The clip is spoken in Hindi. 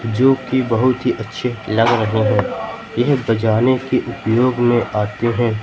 जो कि बहुत ही अच्छे लग रहे हैं यह बजाने के उपयोग में आते हैं।